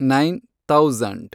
nine thousand